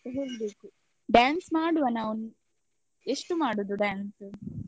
ಮತ್ತೆ ಹೇಳ್ಬೇಕು. dance ಮಾಡ್ವ ನಾವು ಎಷ್ಟು ಮಾಡುದು dance?